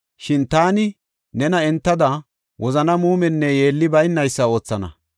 Shin taani nena entada wozana muumenne yeelli baynaysa oothana.